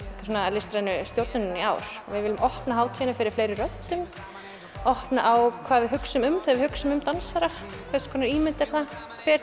listrænu stjórnunina í ár við viljum opna hátíðina fyrir fleiri röddum opna á hvað við hugsum um þegar við hugsum um dansara hvers konar ímynd er það hver